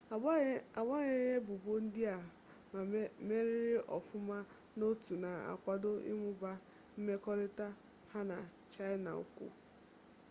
agbanyeghị ebubo ndị a ma meriri ọfụma n'otu na-akwado ịmụba mmekọrịta ha na chaịna ukwu